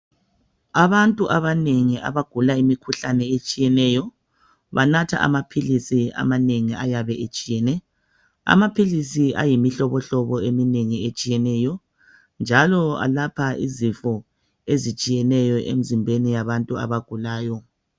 Abantu abanengi abagula imikhuhlane etshiyeneyo banatha amaphilisi amanengi ayabe etshiyene. Amaphilisi ayimihlobo eminengi etshiyeneyo njalo alapha izifo ezitshiyeneyo emzimbeni yabantu abagulayo.